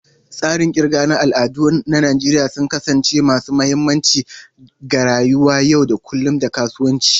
Tsarin kirga na al'ada na Najeriya sun kasance masu mahimmanci ga rayuwar yau da kullun da kasuwanci.